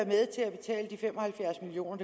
med til at betale de fem og halvfjerds million